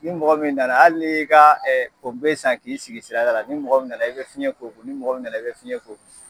Ni mɔgɔ min nana, hali ni ye i ka ee san k'i sigi sirada la ni mɔgɔ min nana i be fiɲɛ k'o kun, ni mɔgɔ min nana i be fiɲɛ k'o kun